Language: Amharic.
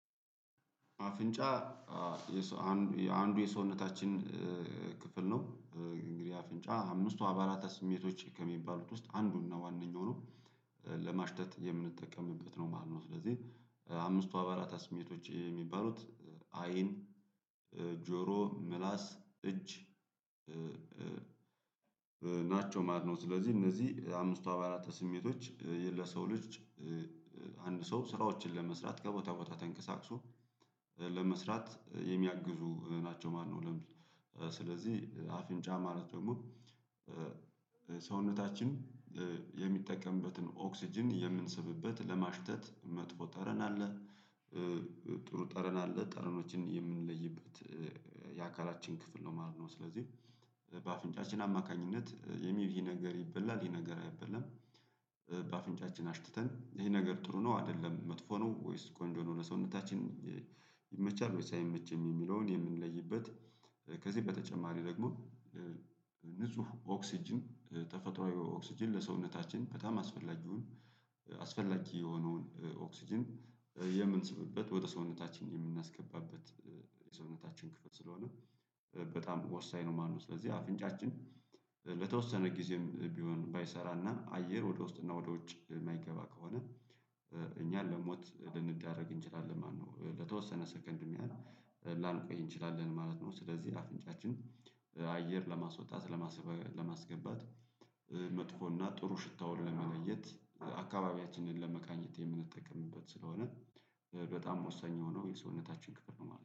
አፍንጫ አንዱ የሰውነታችን ክፍል ነው። እንግዲህ አፍንጫ አምስቱ አባላተ ስሜቶች ከሚባሉት ውስጥ አንዱና ዋናኛው ነው። ለማሽተት የምንጠቀምበት ነው ማለት ነው። ስለዚህ አምስቱ አባላተ ስሜቶች የሚባሉት አይን ጆሮ፣ ምላስ፣ እጅ ናቸው ማለት ነው። ስለዚህ እነዚህ አምስቱ አባላተ ስሜቶች ለሰው ልጅ አንድ ሰው ስራዎችን ለመስራት ከቦታ ቦታ ተንቀሳቅሶ ለመስራት የሚያግዙ ናቸው ማለት ነው። ስለዚህ አፍንጫ ማለት ደግሞ ሰውነታችን የሚጠቀምበትን ኦክስጅን የምንስብበት ለማሽተት መጥፎ ጠረን አለ ጥሩ ጠረን አለ። ጠረኖችን የምንለይበት የአካላችን ክፍል ነው ማለት ነው ስለዚህ በአፍንጫችን አማካኝነት የሚብ ይህ ነገር ይበላል ይሄ ነገር አይበላም፤ በአፍንጫችን አሽትተን ይሄ ነገር ጥሩ ነው አይደለም መጥፎ ነው ወይስ ቆንጆ ነው ለሰውነታችን ይመቻል ወይስ አይመችም የሚለውን የምንለይበት ከዚህ በተጨማሪ ደግሞ ንጹህ ኦክስጅን ተፈጥሮአዊ ኦክስጅን ለሰውነታችን በጣም አስፈላጊውን አስፈላጊ የሆነውን ኦክስጅን የምንስብበት ወደ ሰውነታችን የምናስገባበት የሰውነታችን ክፍል ስለሆነ በጣም ወሳኝ ነው ማለት ነው። ስለዚህ አፍንጫችን ለተወሰነ ጊዜም ቢሆን ባይሰራና አየር ወደ ውስጥ እና ወደ ውጭ የማይገባ ከሆነ እኛን ለሞት ልንዳረግ እንችላለን ማነው። ለተወሰነ ሰከንድም ያህል ላንቆይ እንችላለን ማለት ነው ስለዚህ አፍንጫችን አየር ለማስወጣት ለማስገባት መጥፎ እና ጥሩ ሽታውን ለመለየት አካባቢያችንን ለመቃኘት የምንጠቀምበት ስለሆነ በጣም ወሳኝ የሆነው የሰውነታችን ክፍል ነው ማለት ነው።